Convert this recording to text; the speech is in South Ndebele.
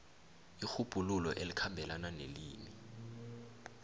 irhubhululo elikhambelana nelimi